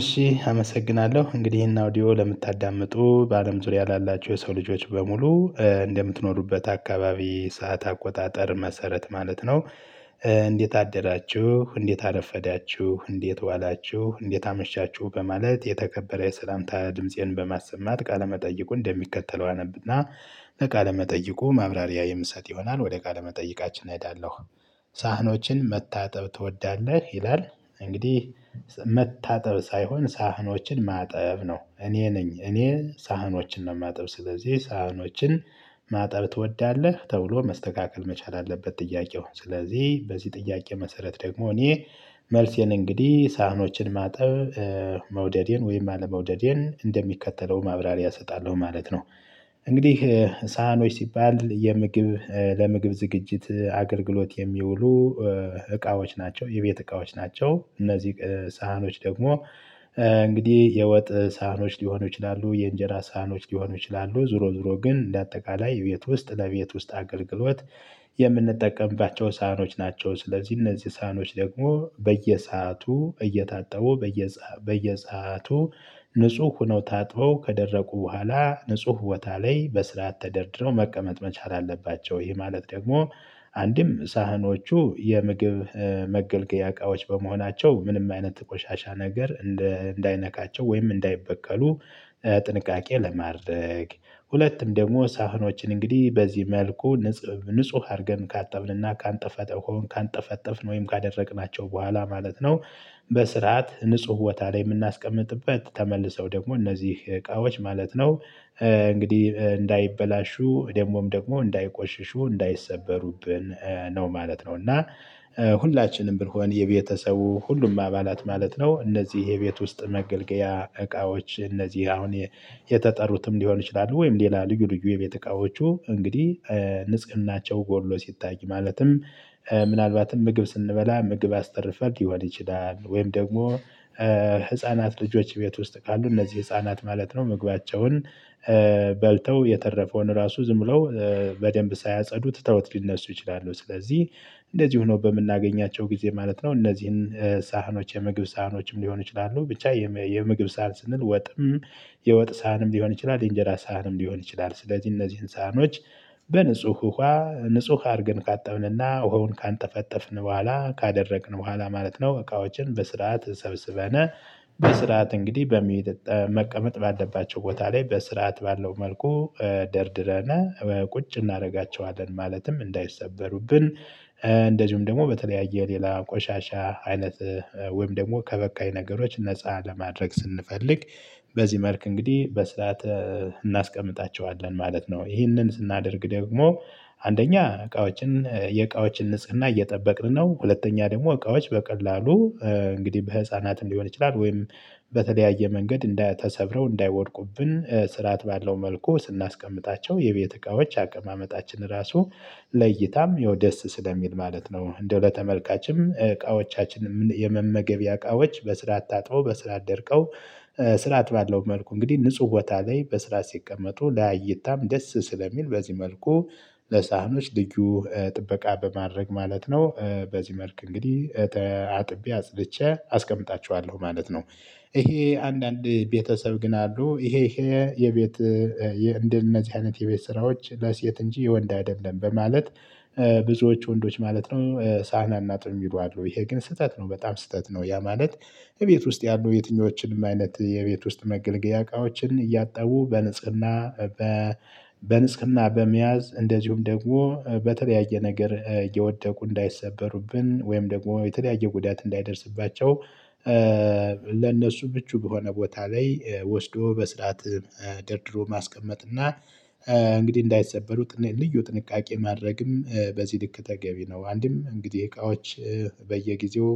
እሺ አመሰግናለሁ እንግዲህ ይሄን አውዲዮ ለምታዳምጡ በአለም ዙሪያ ላላቹ የሰው ልጆች በሙሉ እንደምትኖሩበት አካባቢ ሰዓት አቆጣጠር መሰረት ማለት ነው። እንዴት አደራችሁ እንዴት አረፈዳችሁ እንዴት ዋላችሁ እንዴት አመሻችሁ በማለት የተከበረ ሰላምታ ድምፄን በማሰማት ቃለመጠይቁን እንደሚከተለው አነብና በቃለ መጠይቁ ማብራሪያ የምሰጥ ይሆናል ወደ ቃለ መጠይቃችን እሄዳለሁ። ሳህኖችን መታጠብ ትወዳለህ ይላል? እንግዲህ መታጠብ ሳይሆን ሳህኖችን ማጠብ ነው። እኔ ነኝ እኔ ሳህኖችን ነው የማጥብ። ስለዚህ ሳህኖችን ማጥብ ትወዳለህ ተብሎ መስተካከል መቻል አለበት። ጥያቄው ስለዚህ በዚህ ጥያቄ መሰረት ደግሞ እኔ መልሴን እንግዲህ ሳህኖችን ማጠብ? መውደዴን ወይም አለመውደዴን እንደሚከተለው ማብራሪያ እሰጣለሁ ማለት ነው። እንግዲህ ሳህኖች ሲባል የምግብ ለምግብ ዝግጅት አገልግሎት የሚውሉ እቃዎች ናቸው። የቤት እቃዎች ናቸው። እነዚህ ሳህኖች ደግሞ እንግዲህ የወጥ ሳህኖች ሊሆኑ ይችላሉ። የእንጀራ ሳህኖች ሊሆኑ ይችላሉ። ዞሮ ዞሮ ግን እንደ አጠቃላይ ቤት ውስጥ ለቤት ውስጥ አገልግሎት የምንጠቀምባ ሳህኖች ናቸው። ስለዚህ እነዚህ ሳህኖች ደግሞ በየሰአቱ እየታጠቡ በየሰአቱ ንጹህ ሆኖ ታጥበው ከደረቁ በኋላ ንጹህ ቦታ ላይ በስርዓት ተደርድረው መቀመጥ መቻል አለባቸው። ይህ ማለት ደግሞ አንድም ሳህኖቹ የምግብ መገልገያ እቃዎች በመሆናቸው ምንም አይነት ቆሻሻ ነገር እንዳይነካቸው ወይም እንዳይበከሉ። ለማድረግ ሁለቱም ደግሞ ሳህኖችን እንግዲህ በዚህ መልኩ ንጹህ ንጹህ አድርገን ካጠብንና ካንጠፈሆ ካንጠፈጠፍን ወይም ካደረቅናቸው በኋላ ማለት ነው። በስርዓት ንጹህ ቦታ ላይ የምናስቀምጥበት ተመልሰው ደግሞ እነዚህ እቃዎች ማለት ነው። እንግዲህ እንዳይበላሹ ደግሞም ደግሞ እንዳይቆሽሹ እንዳይሰበሩብን ነው ማለት ነው። እና ሁላችንም ብንሆን የቤተሰቡ ሁሉም አባላት ማለት ነው እነዚህ የቤት ውስጥ መገልገያ እቃዎች እነዚህ አሁን የተጠሩትም ሊሆን ይችላሉ። ወይም ሌላ ልዩ ልዩ የቤት እቃዎቹ እንግዲህ ንጽህናቸው ጎሎ ሲታይ ማለትም ምናልባትም ምግብ ስንበላ ምግብ አስተርፈን ሊሆን ይችላል። ወይም ደግሞ ህፃናት ልጆች ቤት ውስጥ ካሉ እነዚህ ህፃናት ማለት ነው ምግባቸውን በልተው የተረፈውን ራሱ ዝም ብለው በደንብ ሳያጸዱ ትተውት ሊነሱ ይችላሉ። ስለዚህ እንደዚህ ሆኖ በምናገኛቸው ጊዜ ማለት ነው። እነዚህን ሳህኖች የመግብ ሳህኖችም ሊሆን ይችላሉ ብቻ የምግብ ሳህን ስንል ወጥም የወጥ ሳህንም ሊሆን ይችላል የእንጀራ ሳህንም ሊሆን ይችላል። ስለዚህ እነዚህን ሳህኖች ውሃ ንጹህ አርገን ካጠብንና ውሃውን ካንጠፈጠፍን በኋላ ካደረቅን በኋላ ማለት ነው። እቃዎችን በስርዓት ሰብስበን በስርዓት እንግዲህ በሚ መቀመጥ ባለባቸው ቦታ ላይ በስርዓት ባለው መልኩ ደርድረን ቁጭ እናደርጋቸዋለን። ማለትም እንዳይሰበሩብን እንደዚሁም ደግሞ በተለያየ ሌላ ቆሻሻ አይነት ወይም ደግሞ ከበካይ ነገሮች ነፃ ለማድረግ ስንፈልግ በዚህ መልክ እንግዲህ በስራተ እናስቀምጣቸዋለን ማለት ነው። ይህንን ስናደርግ ደግሞ አንደኛ እቃዎችን የእቃዎችን ንጽህና እየጠበቅን ነው። ሁለተኛ ደግሞ እቃዎች በቀላሉ እንግዲህ በህፃናት ሊሆን ይችላል ወይም በተለያየ መንገድ እንዳይ ተሰብረው እንዳይወድቁብን ስርዓት ባለው መልኩ ስናስቀምጣቸው የቤት እቃዎች አቀማመጣችን ራሱ ለይታም ያው ደስ ስለሚል ማለት ነው። እንደው ለተመልካችም እቃዎቻችን የመመገቢያ እቃዎች በስርዓት ታጥበው በስርዓት ደርቀው ስራአት ባለው መልኩ እንግዲህ ንጹህ ቦታ ላይ በስረአት ሲቀመጡ ለእይታም ደስ ስለሚል በዚህ መልኩ ለሳህኖች ልዩ ጥበቃ በማድረግ ማለት ነው። በዚህ መልክ እንግዲህ አጥቤ አጽድቼ አስቀምጣችኋለሁ ማለት ነው። ይሄ አንዳንድ ቤተሰብ ግን አሉ ይሄ ይሄ የቤት እንደነዚህ አይነት የቤት ስራዎች ለሴት እንጂ የወንድ አይደለ በማለት ብዙዎች ወንዶች ማለት ነው ሳህን አናጥብም የሚሉ አሉ ይሄ ግን ስህተት ነው። በጣም ስህተት ነው። ያ ማለት እቤት ውስጥ ያሉ የትኞችን አይነት የቤት ውስጥ መገለገያ እቃዎችን እያጠቡ በንጽህና በንጽህና በመያዝ እንደዚሁም ደግሞ በተለያየ ነገር የወደቁ እንዳይሰበሩብን ወይም ደግሞ የተለያየ ጉዳት እንዳይደርስባቸው። ለነሱ ብቹ በሆነ ቦታ ላይ ወስዶ በስርዓት ደርድሮ ማስቀመጥ እና እንግዲህ እንዳይሰበሩ ልዩ ጥንቃቄ ማድረግም በዚህ ልክ ተገቢ ነው። አንድም እንግዲህ እቃዎች በየጊዜው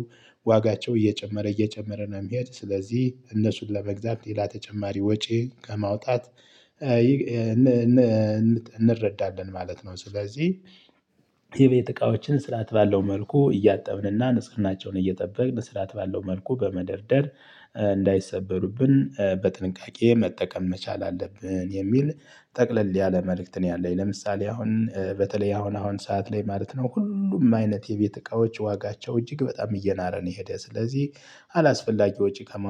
ዋጋቸው እየጨመረ እየጨመረ ነው የሚሄድ ስለዚህ እነሱን ለመግዛት ሌላ ተጨማሪ ወጪ ከማውጣት እንረዳለን ማለት ነው። ስለዚህ የቤት እቃዎችን ስርዓት ባለው መልኩ እያጠብንና ንጽህናቸውን እየጠበቅን ስርዓት ባለው መልኩ በመደርደር እንዳይሰበሩብን በጥንቃቄ መጠቀም መቻል አለብን። የሚል ጠቅለል ያለ መልእክት ነው ያለኝ። ለምሳሌ አሁን በተለይ አሁን አሁን ሰዓት ላይ ማለት ነው ሁሉም አይነት የቤት እቃዎች ዋጋቸው እጅግ በጣም እየናረ ነው። የሄደ ስለዚህ አላስፈላጊ ወጪ ከ